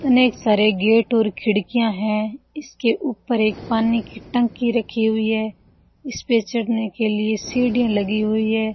इतने सारे गेट और खिड़कियां हैं इसके ऊपर एक पानी की टंकी रखी हुई है इस पे चढ़ने के लिए सीढ़ियां लगी हुई है।